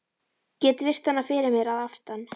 Get virt hana fyrir mér að aftan.